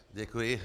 Děkuji.